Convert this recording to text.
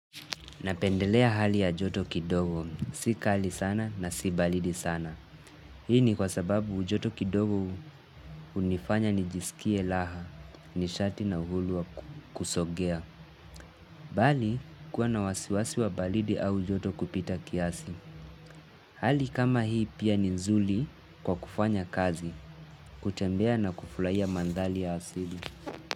Napendelea hali ya joto kidogo, si kali sana na si baridi sana. Hii ni kwa sababu joto kidogo hunifanya nijisikie raha, nishati na uhuru wa kusogea. Bali, kuwa na wasiwasi wa baridi au ujoto kupita kiasi. Hali kama hii pia ni nzuri kwa kufanya kazi, kutembea na kufurahia mandhari ya asili.